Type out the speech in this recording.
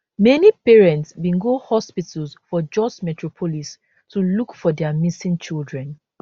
many parents bin go hospitals for jos metropolis to look for dia missing children